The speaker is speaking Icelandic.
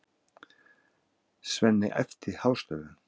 Svenni æpti hástöfum.